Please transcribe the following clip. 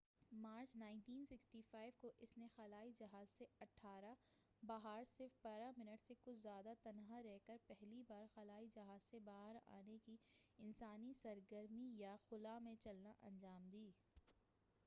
18 March, 1965 کو، اس نے خلائی جہاز سے باہر صرف بارہ منٹ سے کچھ زیادہ تک تنہا رہ کر، پہلی بار خلائی جہاز سے باہر آنے کی انسانی سرگرمی ایوا، یا خلاء میں چلنا انجام دی۔